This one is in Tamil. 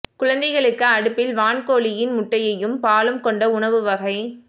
குழந்தைகளுக்கு அடுப்பில் வான்கோழி இன் முட்டையும் பாலும் கொண்ட உணவு வகை